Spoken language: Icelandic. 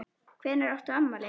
Hvenær átt þú afmæli?